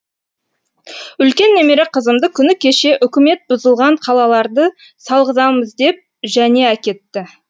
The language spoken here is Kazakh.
үлкен немере қызымды күні кеше үкімет бұзылған қалаларды салғызамыз деп және әкетті